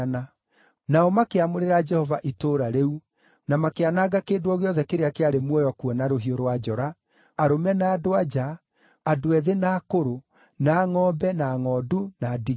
Nao makĩamũrĩra Jehova itũũra rĩu, na makĩananga kĩndũ o gĩothe kĩrĩa kĩarĩ muoyo kuo na rũhiũ rwa njora, arũme na andũ-a-nja, andũ ethĩ na akũrũ, na ngʼombe, na ngʼondu, na ndigiri.